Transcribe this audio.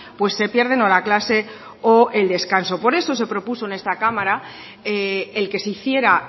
pues se pierden o la clase o el descanso por eso se propuso en esta cámara el que se hiciera